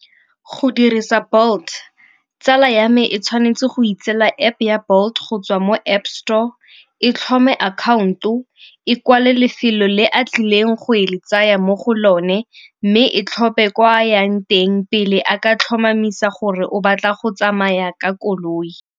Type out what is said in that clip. Go dirisa Bolt, tsala ya me e tshwanetse go itseela App-e ya Bolt go tswa mo App store, e tlhomphe account-o, e kwale lefelo le a tlileng go le tsaya mo go lone, mme e tlhophe kwa a yang teng pele a ka tlhomamisa gore o batla go tsamaya ka koloi.